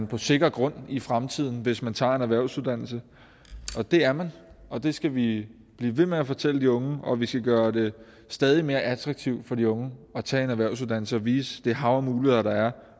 på sikker grund i fremtiden hvis man tager en erhvervsuddannelse det er man og det skal vi blive ved med at fortælle de unge og vi skal gøre det stadig mere attraktivt for de unge at tage en erhvervsuddannelse og vise det hav af muligheder der er